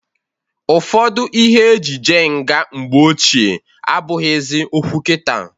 Ụfọdụ ihe e ji je nga mgbe ochie abụghịzị okwu kita.